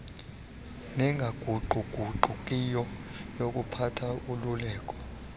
nengaguquguqukiyo yokuphatha ululeko